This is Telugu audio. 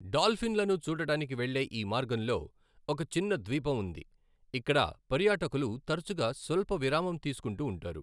డాల్ఫిన్లను చూడటానికి వెళ్ళే ఈ మార్గంలో ఒక చిన్న ద్వీపం ఉంది, ఇక్కడ పర్యాటకులు తరచుగా స్వల్ప విరామం తీసుకుంటూ ఉంటారు.